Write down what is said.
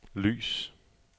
lys